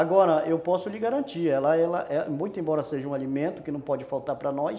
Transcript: Agora eu posso lhe garantir, ela, ela, muito embora seja um alimento que não pode faltar para nós,